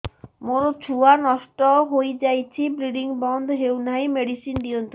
ମୋର ଛୁଆ ନଷ୍ଟ ହୋଇଯାଇଛି ବ୍ଲିଡ଼ିଙ୍ଗ ବନ୍ଦ ହଉନାହିଁ ମେଡିସିନ ଦିଅନ୍ତୁ